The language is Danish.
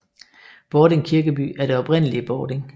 Bording Kirkeby er det oprindelige Bording